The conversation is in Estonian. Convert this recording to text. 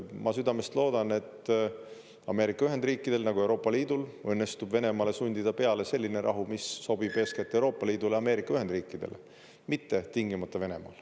Ma südamest loodan, et Ameerika Ühendriikidel, nagu ka Euroopa Liidul õnnestub Venemaale sundida peale selline rahu, mis sobib eeskätt Euroopa Liidule, Ameerika Ühendriikidele, mitte tingimata Venemaale.